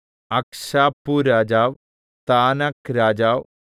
അക്ക്ശാപ്പുരാജാവ് താനാക് രാജാവ്